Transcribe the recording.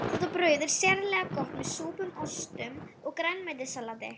Þetta brauð er sérlega gott með súpum, ostum og grænmetissalati.